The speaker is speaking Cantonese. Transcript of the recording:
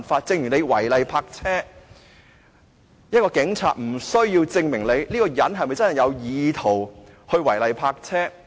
正如違例泊車，警察無須證明一個人是否有意圖違例泊車。